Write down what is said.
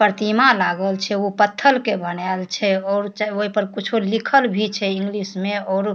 प्रतिमा लागल छे उ पत्थल के बनाएल छे और च ओय पर कुछो लिखल भी छे इंग्लिश में और --